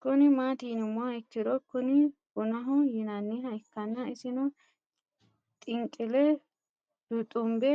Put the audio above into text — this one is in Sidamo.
Kuni mati yinumoha ikiro Kuni bunaho yinaniha ikana isino xinqile luxumbe